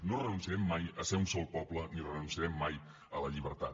no renunciarem mai a ser un sol poble ni renunciarem mai a la llibertat